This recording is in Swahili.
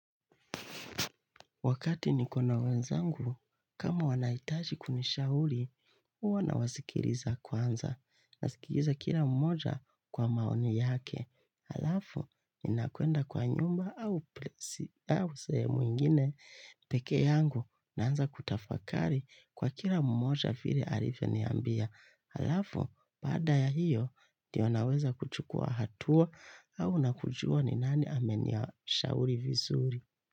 Wakati niko na wenzangu, kama wanahitaji kunishauri, uwa na wasikiliza kwanza, nasikiliza kila mmoja kwa maoni yake. Halafu, nina kwenda kwa nyumba au sehemu ingine, peke yangu, naanza kutafakari kwa kila mmoja vile alivyo niambia. Halafu, baada ya hiyo, ndio naweza kuchukua hatua au na kujua ni nani amenia shauri vizuri.